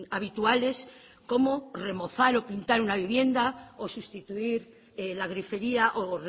habituales como remozar o pintar una vivienda o sustituir la grifería o